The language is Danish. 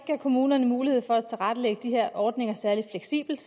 kommunerne mulighed for at tilrettelægge de her ordninger særlig fleksibelt